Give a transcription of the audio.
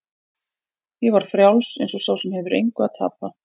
Ég var frjáls eins og sá sem engu hefur að tapa.